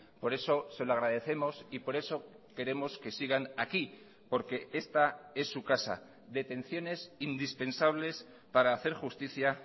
por eso se lo agradecemos y por eso queremos que sigan aquí porque esta es su casa detenciones indispensables para hacer justicia